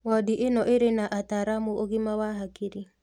Wondi ĩno ĩrĩ na ataaramu ũgima wa hakiri